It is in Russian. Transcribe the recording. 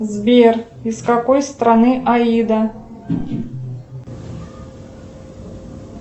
сбер из какой страны аида